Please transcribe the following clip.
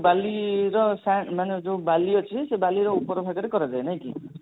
ବାଲିର ମାନେ ଯଉ ବାଲି ଅଛି ସେଇ ବାଲିର ଉପର ଭାଗରେ କରାଯାଏ ନାଇଁ କି